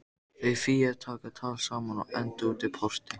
Þau Fía taka tal saman og enda útí porti.